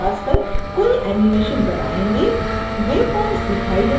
जैसे ही हम canvas पर कोई animation बनायेंगे waypoints दिखाए देने लगेंगे